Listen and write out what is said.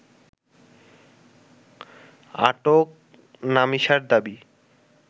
আটক নামিসার দাবি